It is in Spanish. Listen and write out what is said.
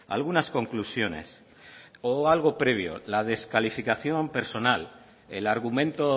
algunas conclusiones o algo previo la descalificación personal el argumento